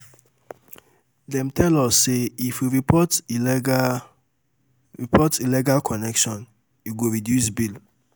Dem um tell us sey, um if we report illegal report illegal connection, e um go reduce bill.